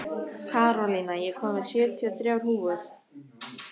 Kristólína, ég kom með sjötíu og þrjár húfur!